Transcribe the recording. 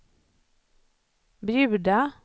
bjuda